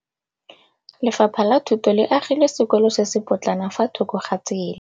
Lefapha la Thuto le agile sekôlô se se pôtlana fa thoko ga tsela.